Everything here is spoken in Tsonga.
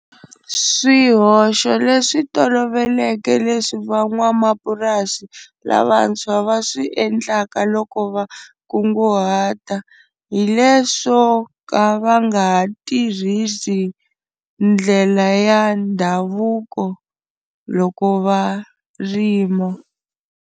Swihoxo leswi tolovelekeke leswi van'wamapurasi lavantshwa va swi endlaka loko va kunguhata hi leswo ka va nga ha tirhisi ndlela ya ndhavuko loko va rima.